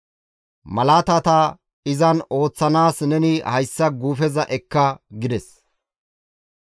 Malaatata izan ooththanaas neni hayssa guufeza ekka» gides.